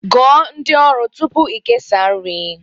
Gụọ ndị ọrụ tupu ị kesaa nri